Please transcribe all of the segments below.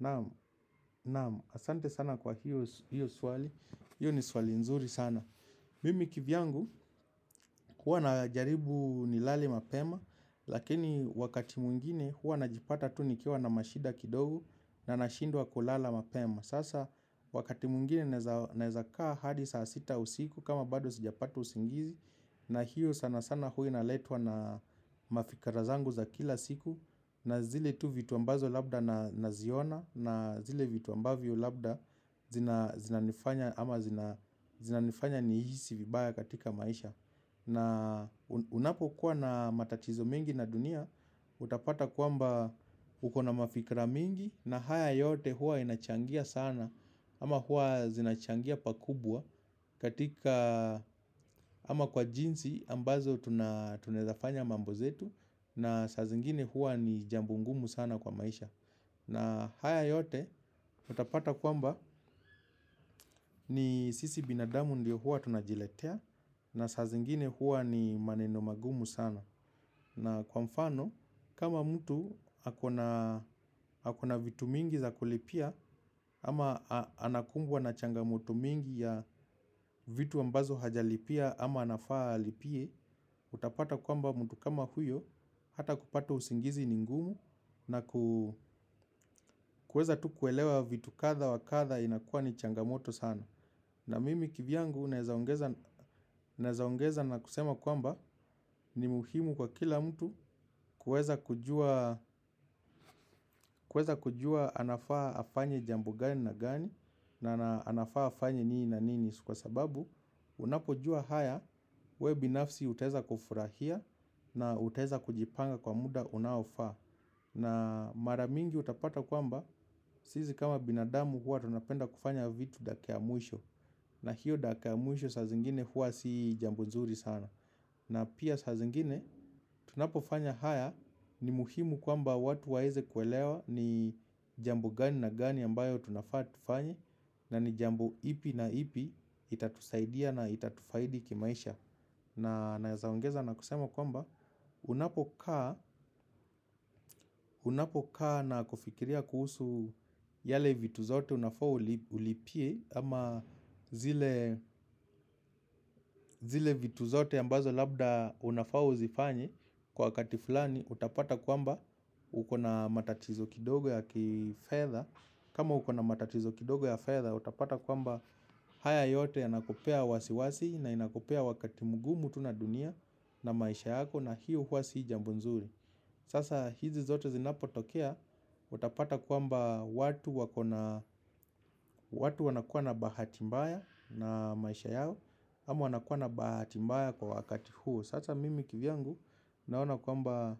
Naam, asante sana kwa hiyo swali, hiyo ni swali nzuri sana. Mimi kivyangu, huwa najaribu nilale mapema. Lakini wakati mwngine huwa najipata tu nikiwa na mashida kidogo na nashindwa kulala mapema. Sasa wakati mwingine naeza kaa hadi saa sita usiku kama bado sijapata usingizi. Na hiyo sana sana huwa inaletwa na mafikra zangu za kila siku. Na zile tu vitu ambazo labda naziona na zile vitu mbavyo labda zinanifanya ama zinanifanya nihisi vibaya katika maisha. Na unapo kuwa na matatizo mengi na dunia utapata kwamba ukona mafikra mingi na haya yote huwa inachangia sana. Ama huwa zinachangia pakubwa katika ama kwa jinsi ambazo tuna eza fanya mambo zetu na sazingine huwa ni jambo ngumu sana kwa maisha. Na haya yote utapata kwamba ni sisi binadamu ndio huwa tunajiletea. Na sazingine huwa ni maneno magumu sana. Na kwa mfano kama mtu akona vitu mingi za kulipia ama anakungwa na changamoto mingi ya vitu ambazo hajalipiya ama anafaa alipiye. Utapata kwamba mtu kama huyo hata kupata usingizi ni ngumu na kuweza tu kuelewa vitu kadha wakatha inakuwa ni changamoto sana. Na mimi kivyangu naeza ongeza na kusema kwamba ni muhimu kwa kila mtu kuweza kujua anafaa afanye jambo gani na gani na anafaa afanye nini na nini. Kwa sababu unapojuwa haya we binafsi utaweza kufurahiya na utaweza kujipanga kwa muda unaofaa. Na mara mingi utapata kwamba, sisi kama binadamu huwa tunapenda kufanya vitu dakika ya mwisho. Na hiyo dakika ya mwisho sazingine huwa si jambo nzuri sana. Na piya sazingine, tunapofanya haya ni muhimu kwamba watu waweze kuelewa ni jambo gani na gani ambayo tunafaa tufanye. Na ni jambo ipi na ipi itatusaidia na itatufaidi kimaisha. Na naeza ongeza na kusema kwamba unapokaa na kufikiriya kuhusu yale vitu zote unafa ulipiye ama zile vitu zote ambazo labda unafaa uzifanye kwa wakati fulani utapata kwamba ukona matatizo kidogo ya kifedha. Kama ukona matatizo kidogo ya fedha, utapata kwamba haya yote yanakupeya wasiwasi na inakupeya wakati mgumu tu naduniya na maisha yako na hiyo huwa si jambo nzuri. Sasa hizi zote zinapotokea, utapata kwamba watu wanakuwa na bahati mbaya na maisha yao, ama wanakuwa na bahati mbaya kwa wakati huo. Sasa mimi kivyangu naona kwamba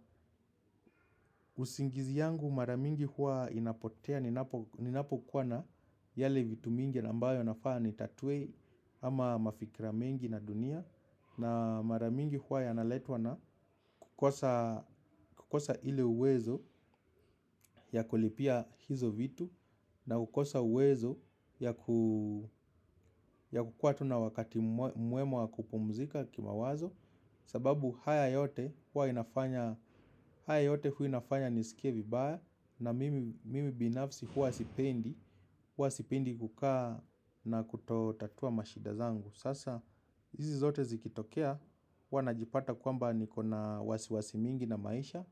usingizi yangu mara mingi huwa inapotea. Ninapo kuwa na yale vitu mingi na ambayo nafaa nitatuwe ama mafikira mengi na duniya. Na mara mingi huwa yana letwa na kukosa ile uwezo ya kulipiya hizo vitu. Na kukosa uwezo ya kukuwa tu na wakati mwema wa kupumzika kimawazo. Sababu haya yote huwa inafanya nisikiye vibaya na mimi binafsi huwa sipendi. Huwa sipendi kukaa na kutotatua mashida zangu. Sasa hizi zote zikitokeya huwa najipata kwamba nikona wasiwasi mingi na maisha.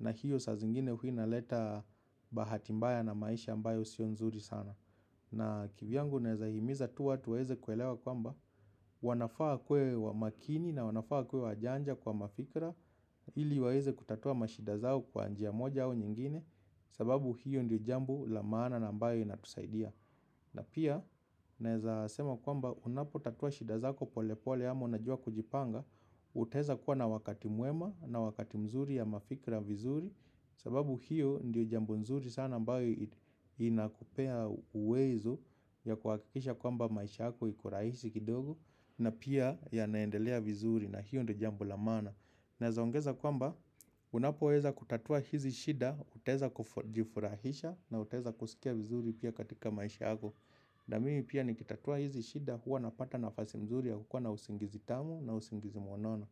Na hiyo sazingine huwa inaleta bahati mbaya na maisha ambayo sio nzuri sana. Na kivyangu neza himiza tu watu waweze kuelewa kwamba wanafaa wakuwe wa makini na wanafaa wakuwe wajanja kwa mafikra ili waweze kutatua mashida zao kwa njiya moja au nyingine. Sababu hiyo ndiyo jambo la maana na mbayo inatusaidiya na piya naeza sema kwamba unapo tatua shida zako pole pole ama unajua kujipanga. Utaeza kuwa na wakati mwema na wakati mzuri ya mafikra vizuri. Sababu hiyo ndiyo jambo mzuri sana mbayo inakupeya uwezo ya kuhakikisha kwamba maisha yako iko rahisi kidogo. Na piya yanaendelea vizuri na hiyo ndiyo jambo la maana naeza ongeza kwamba unapoweza kutatua hizi shida utaweza kujifurahisha na utaweza kusikiya vizuri piya katika maisha yako. Na mimi piya nikitatuwa hizi shida huwa napata nafasi mzuri ya kukuwa na usingizi tamu na usingizi mnono.